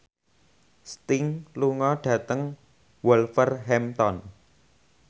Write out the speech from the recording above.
Sting lunga dhateng Wolverhampton